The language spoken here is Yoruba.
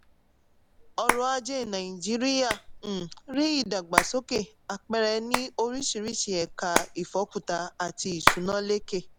ọrọ̀-ajé nàìjíríà um rí ìdàgbàsókè àpẹẹrẹ ní oríṣiríṣi ẹka ìfọ́kuta àti ìsúná lékè.